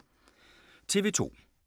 TV 2